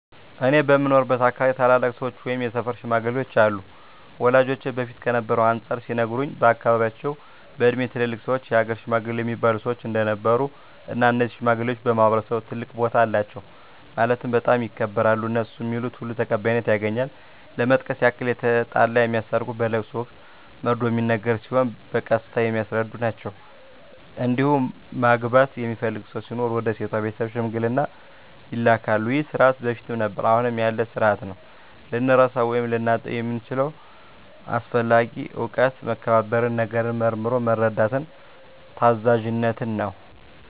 እኔ በምኖርበት አካባቢ ታላላቅ ሰዎች ወይም የሰፈር ሽማግሌዎች አሉ ወላጆቼ በፊት ከነበረው አንፃር ሲነግሩኝ በአካባቢያቸው በእድሜ ትላልቅ ሰዎች የሀገር ሽማግሌ እሚባሉ ሰዎች እንደነበሩ እና እነዚህ ሽማግሌዎች በማህበረሰቡ ትልቅ ቦታ አላቸው ማለትም በጣም ይከበራሉ እነሡ ሚሉት ሁሉ ተቀባይነት ያገኛል ለመጥቀስ ያክል የተጣላ የሚያስታርቁ በለቅሶ ወቅት መርዶ ሚነገር ሲሆን በቀስታ የሚያስረዱ ናቸዉ እንዲሁም ማግባት የሚፈልግ ሰው ሲኖር ወደ ሴቷ ቤተሰብ ሽምግልና ይላካሉ ይህ ስርዓት በፊትም ነበረ አሁንም ያለ ስርአት ነው። ልንረሳው ወይም ልናጣው የምንችለው አስፈላጊ እውቀት መከባበርን፣ ነገርን መርምሮ መረዳትን፣ ታዛዝነትን ነው።